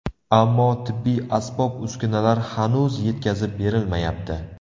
Ammo tibbiy asbob-uskunalar hanuz yetkazib berilmayapti.